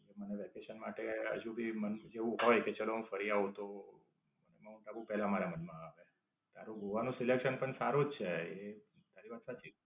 મને વેકેશન માટે હજુ ભી મન થી જવું હોય કે ચાલો હું ફરી આવું તો માઉન્ટ આબુ પેલા મારા મનમાં આવ. તારું ગોવા નું selection પણ સારું જ છે. તારી વાત સાચી છે.